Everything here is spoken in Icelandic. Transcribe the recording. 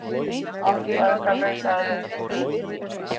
Andstæðingar leitaðir uppi